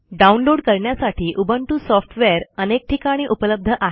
download करण्यासाठी Ubuntu software अनेक ठिकाणी उपलब्ध आहे